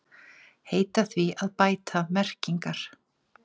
Heita því að bæta merkingar